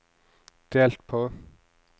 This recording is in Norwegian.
delt på